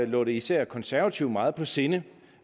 lå det især konservative meget på sinde